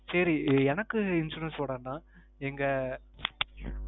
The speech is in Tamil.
சேரி எனக்கு insurance போட வேண்டாம். எங்க,